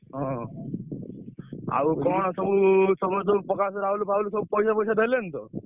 ହଁ ଆଉ କଣ ସବୁ ସମସ୍ତଙ୍କୁ ପ୍ରକାଶ ରାହୁଲ ଫାହୁଲ ସବୁ ପଇସା ଫଇସା ଦେଲେଣି ତ?